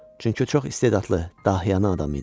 Çünki o çox istedadlı, dahiyanə adam idi.